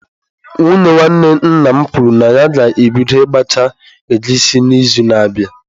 Nwunye nwanne nna m kwuru na ya ga-ebido ịgbacha egusi n'izu na-abịa.